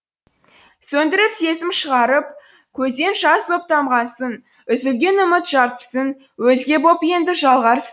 сөндіріп сезім шырағып көзден жас боп тамғансың үзілген үміт жартысын өзге боп енді жалғарсын